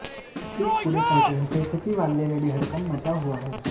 इस पूरे प्रकरण से सचिवालय में भी हड़कंप मच हुआ है